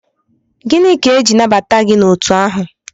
Gịnị ka eji nabata gị n'otu ahụ?